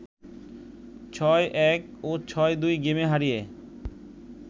৬-১ ও ৬-২ গেমে হারিয়ে